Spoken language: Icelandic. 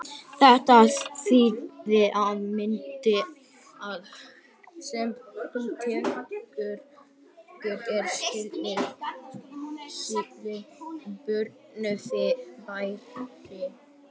Þetta þýðir að myndin sem þú tekur er stillt fyrir björt fyrirbæri.